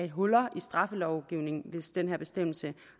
huller i straffelovgivningen hvis den her bestemmelse